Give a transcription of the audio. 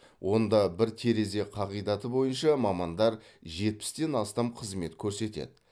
онда бір терезе қағидаты бойынша мамандар жетпістен астам қызмет көрсетеді